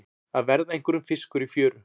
Að verða einhverjum fiskur í fjöru